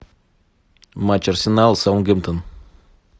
матч арсенал саутгемптон